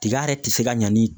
Tiga yɛrɛ ti se ka ɲa ni